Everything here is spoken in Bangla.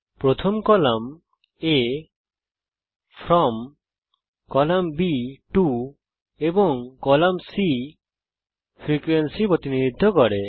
প্রথম column A from class boundary বর্গ সীমা কলাম B টো এবং কলাম C ফ্রিকোয়েন্সি প্রতিনিধিত্ব করে